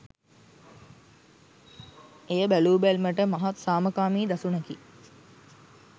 එය බැලූබැල්මට මහත් සාමකාමී දසුනකි